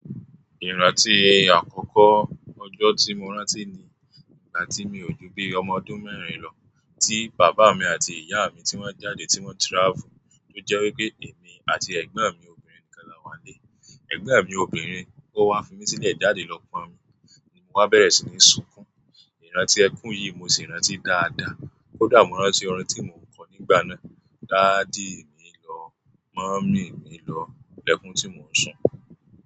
Ìrántí àkọ́kọ́ ọjọ́ tí mo rántí ni, ìgbà tí mi ò ju bí ọmọ ọdún mẹ́rin lọ, tí bàbá mi àti ìyá mi ti wọ́n jáde, tí wọ́n travel, tó jẹ́ wípé èmi àti ẹ̀gbọ́n mi obìnrin nìkan la wà lé. Ẹ̀gbọ́n mi obìnrin ó wa fi mi sílẹ̀ jáde lọ pọn omi, ni mo wá bẹ̀rẹ̀ sí ní sunkún. Ìrántí ẹkún yìí mo sì rántí dáadáa, ó dàbí mò ń rántí orin tí mo ń kọ nígbà náà. Daddy mi lọ, mummy mi lọ, lẹ́kún tí mò ń sùn.